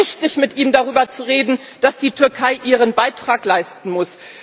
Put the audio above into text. Ich finde es richtig, mit ihm darüber zu reden, dass die Türkei ihren Beitrag leisten muss.